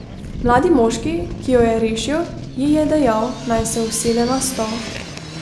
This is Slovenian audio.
Mladi moški, ki jo je rešil, ji je dejal, naj se usede na stol.